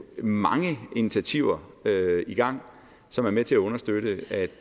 mange initiativer i gang som er med til at understøtte